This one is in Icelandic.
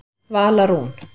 Vala Rún.